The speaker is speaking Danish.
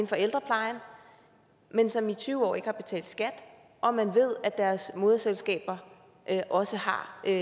for ældreplejen men som i tyve år ikke har betalt skat og man ved at deres moderselskaber også har et